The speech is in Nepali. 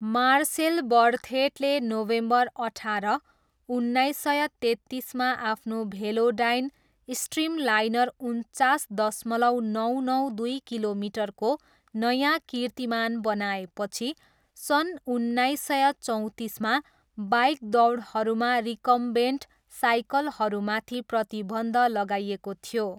मार्सेल बर्थेटले नोभेम्बर अठार, उन्नाइस सय तेत्तिसमा आफ्नो भेलोडाइन स्ट्रिमलाइनर उन्चास दशमलव नौ नौ दुई किलोमिटरको नयाँ कीर्तिमान बनाएपछि सन् उन्नाइस सय चौँतिसमा बाइक दौडहरूमा रिकम्बेन्ट साइकलहरूमाथि प्रतिबन्ध लगाइएको थियो।